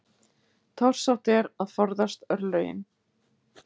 Torsótt er að forðast forlögin.